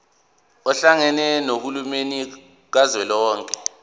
ohlakeni lukahulumeni kazwelonke